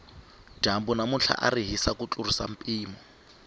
dyambu namuntlha ari hisi ku tlurisa mpimo